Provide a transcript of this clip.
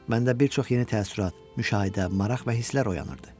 Məndə bir çox yeni təəssürat, müşahidə, maraq və hisslər oyanırdı.